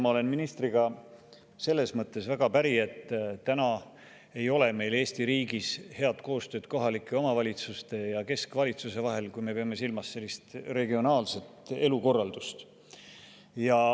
Ma olen ministriga selles mõttes väga päri, et täna ei ole meil Eesti riigis head koostööd kohalike omavalitsuste ja keskvalitsuse vahel, kui me peame silmas regionaalset elukorraldust.